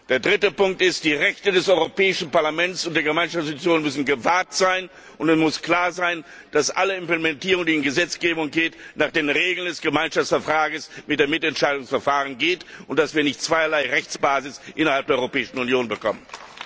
Der dritte Punkt ist Die Rechte des Europäischen Parlaments und der Gemeinschaftsinstitutionen müssen gewahrt sein, und es muss klar sein, dass jede Implementierung, die in Gesetzgebung übergeht, nach den Regeln des Gemeinschaftsvertrages mit dem Mitentscheidungsverfahren ergeht und dass wir nicht zweierlei Rechtsbasis innerhalb der Europäischen Union bekommen.